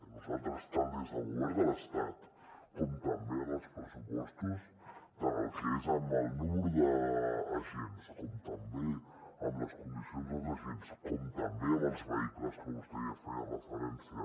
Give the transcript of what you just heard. nosaltres tant des del govern de l’estat com també en els pressupostos tant el que és amb el nombre d’agents com també amb les condicions dels agents com també amb els vehicles que vostè ja hi feia referència